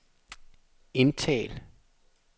indtal